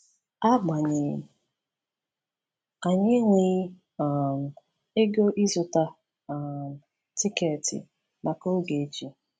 Agbanyeghị, anyị enweghị um ego ịzụta um tiketi maka Ogechi.